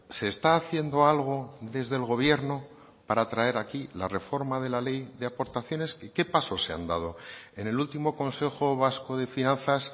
se está haciendo algo desde el gobierno para traer aquí la reforma de la ley de aportaciones qué pasos se han dado en el último consejo vasco de finanzas